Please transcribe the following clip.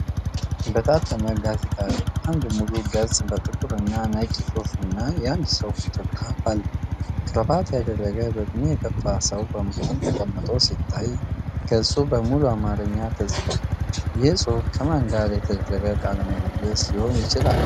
በታተመ ጋዜጣ ላይ አንድ ሙሉ ገጽ በጥቁር እና ነጭ ጽሑፍና የአንድ ሰው ፎቶግራፍአለ። ክራባት ያደረገ በዕድሜ የገፋ ሰው በመሃል ተቀምጦ ሲታይ፣ ገጹ በሙሉ በአማርኛ ተጽፏል። ይህ ጽሑፍ ከማን ጋር የተደረገ ቃለ ምልልስ ሊሆን ይችላል?